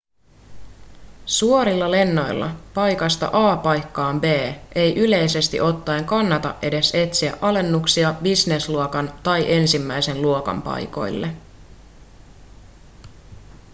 suorilla lennoilla paikasta a paikkaan b ei yleisesti ottaen kannata edes etsiä alennuksia businessluokan tai ensimmäisen luokan paikoille